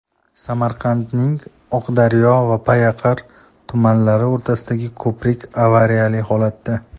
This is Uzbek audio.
Samarqandning Oqdaryo va Payariq tumanlari o‘rtasidagi ko‘prik avariyali holatda.